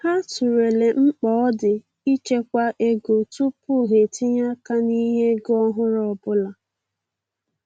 Ha tụlere mkpa ọ di ịchekwa ego tupu ha etinye-aka n'ihe ego ọhụrụ ọbụla.